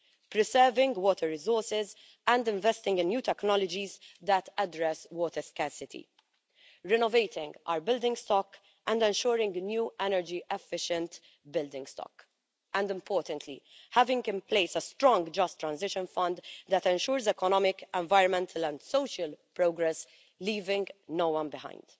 preserving water resources and investing in new technologies that address water scarcity, renovating our building stock and ensuring the new energy efficient building stock, and, importantly, having in place a strong just transition fund that ensures economic, environmental and social progress, leaving no one behind.